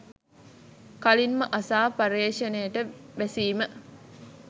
කලින්ම අසා පර්යේෂණයට බැසීම